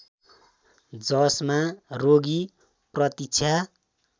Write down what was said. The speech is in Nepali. जसमा रोगी प्रतीक्षा